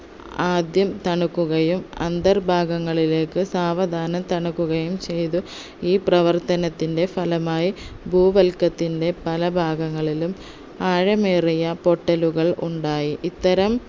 ആദ്യം തണുക്കുകയും അന്തർ ഭാഗങ്ങളിലേക്ക് സാവധാനം തണുക്കുകയും ചെയ്തു ഈ പ്രവർത്തനത്തിൻെറ ഫലമായി ഭൂവല്കത്തിൻെറ പല ഭാഗങ്ങളിലും ആഴമേറിയ പൊട്ടലുകൾ ഉണ്ടായി ഇത്തരം